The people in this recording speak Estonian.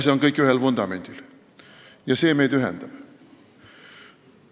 See on kõik ühel vundamendil ja see meid ühendab.